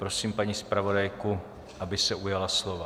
Prosím paní zpravodajku, aby se ujala slova.